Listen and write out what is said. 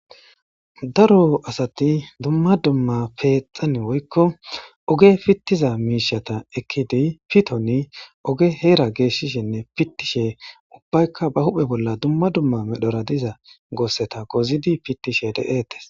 Daro asati dumma dumma peexan woykko oge pittiza miishata ekkidi pitoni oge heera geeshshishinne pittishe ubbaykka ba huphe bolla dumma dumma medhora diza goosseta gozidi pittishe deetes